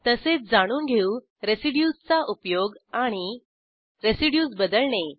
तसेच जाणून घेऊ रेसिड्यूज चा उपयोग आणि रेसिड्यूज बदलणे